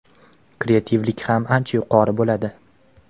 kreativlik ham ancha yuqori bo‘ladi.